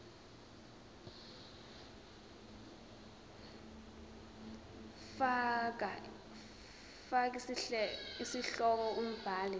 fal isihloko umbhali